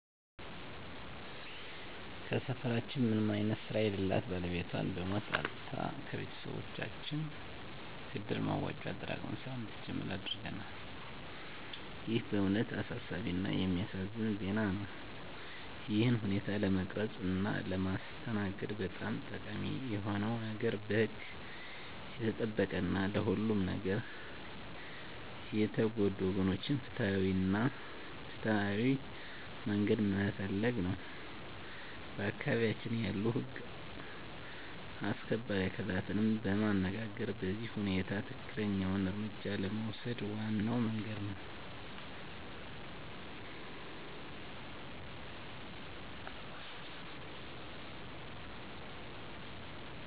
ከሰፈራችን ምንም አይነት ስራ የለላት ባለቤቷን በሞት አጥታ ከቤቶሰቦቻችን ከእድር መዋጮ አጠራቅመን ስራ እንድትጀምር አድርገናል